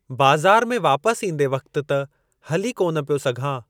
बाज़ारि में वापस ईंदे वक़्ति त हली कोन पियो सघां।